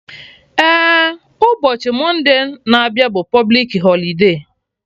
Eh, ụbọchị Monday na abịa bụ publik holide